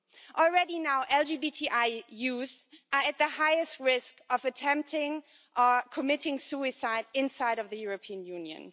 Already LGBTI youth are at the highest risk of attempting or committing suicide inside of the European Union.